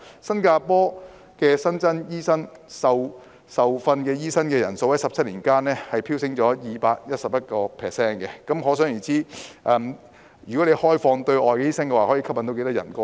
新加坡新增的受訓醫生人數在17年間飆升 211%， 可想而知開放對外醫生可以吸引多少人前來。